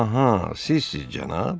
Aha, sizsiz cənab?